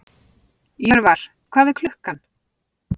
Jörvar, hvað er klukkan?